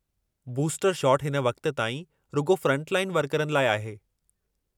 Booster shot हिन वक़्त ताईं रुॻो फ़्रंटलाइन वर्करनि लाइ आहे।